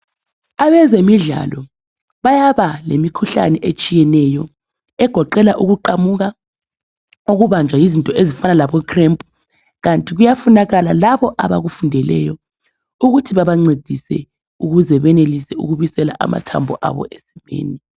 Abezemidlalo bayaba lemikhuhlane etshiyeneyo egoqela ukuqamuka, ukubanjwa yizinto ezifanana labocramp kanti kuyafunakala labo abakufundeleyo ukuthi babancedise ukuze benelise ukubisela amathambo abo esimeni.